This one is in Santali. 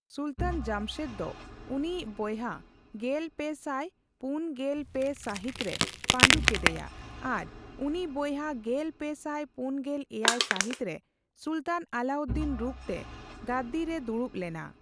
ᱥᱩᱞᱛᱟᱱ ᱡᱟᱢᱥᱮᱫ ᱫᱚ ᱩᱱᱤᱭᱤᱡ ᱵᱚᱭᱦᱟ ᱜᱮᱞᱯᱮᱥᱟᱴ ᱯᱩᱱ ᱜᱮᱞ ᱯᱮ ᱥᱟᱹᱦᱤᱛ ᱨᱮ ᱯᱟᱹᱰᱩ ᱠᱮᱫᱮᱭᱟ ᱟᱨ ᱩᱱᱤ ᱵᱚᱭᱦᱟ ᱜᱮᱞᱯᱮ ᱥᱟᱭ ᱯᱩᱱᱜᱮᱞ ᱮᱭᱟᱭ ᱥᱟᱹᱦᱤᱛ ᱨᱮ ᱥᱩᱞᱛᱟᱱ ᱟᱞᱞᱟᱩᱫᱫᱤᱱ ᱨᱩᱯ ᱛᱮ ᱜᱟᱫᱽᱫᱤ ᱨᱮ ᱫᱩᱲᱩᱵ ᱞᱮᱱᱟ᱾